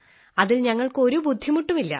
അതിൽ ഞങ്ങൾക്കൊരു ബുദ്ധിമുട്ടും ഇല്ല